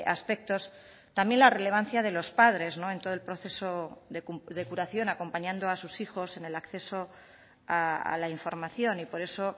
aspectos también la relevancia de los padres en todo el proceso de curación acompañando a sus hijos en el acceso a la información y por eso